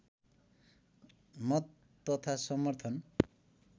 मत तथा समर्थन